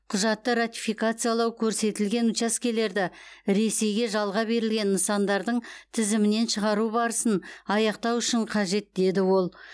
құжатты ратификациялау көрсетілген учаскелерді ресейге жалға берілген нысандардың тізімінен шығару барысын аяқтау үшін қажет деді ол